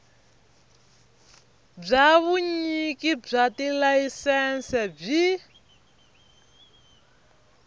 bya vunyiki bya tilayisense byi